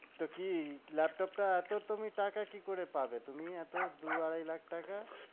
তো কি ল্যাপটপ টা এত তুমি টাকা কি করে পাবে তুমি এত দু আড়াই লাখ টাকা?